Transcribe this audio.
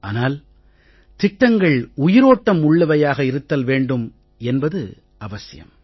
ஆனால் திட்டங்கள் உயிரோட்டம் உள்ளவையாக இருத்தல் வேண்டும் என்பது அவசியம்